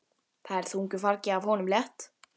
Það er þungu fargi af honum létt.